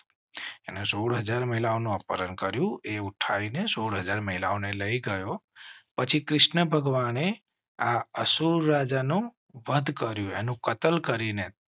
સોડ હાજર મહિલાઓ નું અપહરણ કર્યું એ ઉઠાવી ને સોડ હાજર મહિલાઓ ને લઈ ગયો પછી કૃષ્ણ ભગવાને અસુર નો વધ કર્યો કતલ કરી ને